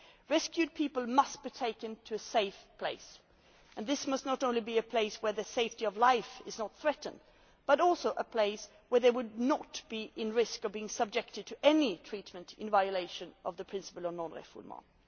Rescued people must be taken to a safe place and this must not only be a place where safety of life is not threatened but also a place where they would not be at risk of being subjected to any treatment in violation of the principle of non refoulement.